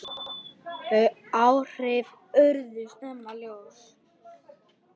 Þau áhrif urðu snemma ljós.